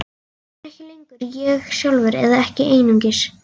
Ég er ekki lengur ég sjálfur, eða ekki einungis.